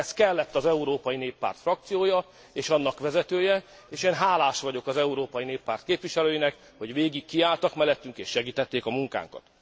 Ehhez kellett az Európai Néppárt frakciója és annak vezetője, és én hálás vagyok az Európai Néppárt képviselőinek, hogy végig kiálltak mellettünk és segítették a munkánkat.